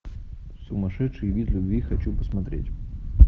сумасшедший вид любви хочу посмотреть